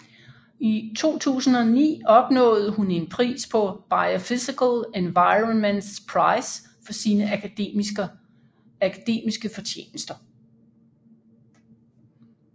I 2009 opnåede hun en pris Biophysical Environments Prize for sine akademiske fortjenester